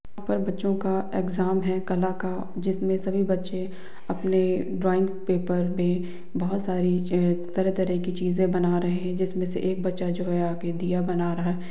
यहां पर बच्चो का एग्जाम है कला का जिसमे सभी बच्चे अपने ड्राइंग पेपर पे बहुत सारी तरह-तरह की चीजे बना रहे है जिसमे से एक बच्चा जो है आगे दिया बना रहा।